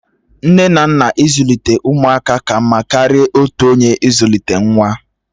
Nne na nna ịzụlite ụmụaka ka mma karịa otu onye ịzụlite nwa